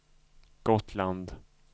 Gotland